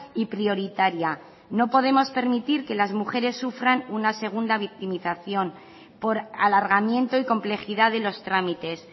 y prioritaria no podemos permitir que las mujeres sufran una segunda victimización por alargamiento y complejidad de los trámites